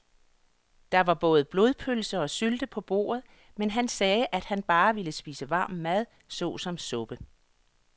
Der var både blodpølse og sylte på bordet, men han sagde, at han bare ville spise varm mad såsom suppe.